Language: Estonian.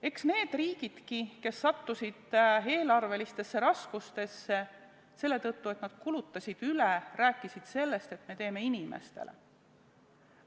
Eks need riigid, kes sattusid eelarvelistesse raskustesse selle tõttu, et nad kulutasid üle, rääkisidki sellest, et me teeme inimestele.